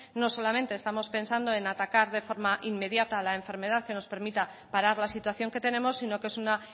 no solamente estamos pensando en atacar de forma inmediata la enfermedad que nos permita parar la situación que tenemos sino que es una